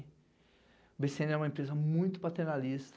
O BCN é uma empresa muito paternalista,